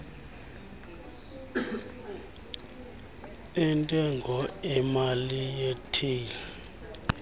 entengo emali retail